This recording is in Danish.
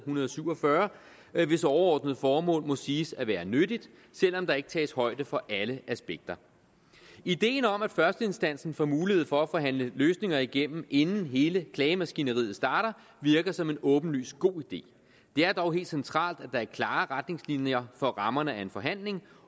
hundrede og syv og fyrre hvis overordnede formål må siges at være nyttigt selv om der ikke tages højde for alle aspekter ideen om at førsteinstansen får mulighed for at forhandle løsninger igennem inden hele klagemaskineriet starter virker som en åbenlyst god idé det er dog helt centralt at der er klare retningslinjer for rammerne af en forhandling